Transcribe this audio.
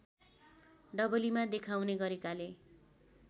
डबलीमा देखाउने गरेकाले